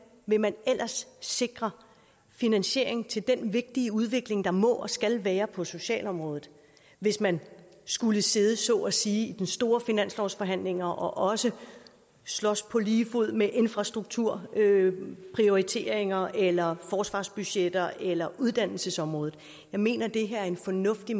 vil man ellers sikre finansiering til den vigtige udvikling der må og skal være på socialområdet hvis man skulle sidde så at sige i de store finanslovsforhandlinger og også slås på lige fod med infrastrukturprioriteringer eller forsvarsbudgetter eller uddannelsesområdet jeg mener det her er en fornuftig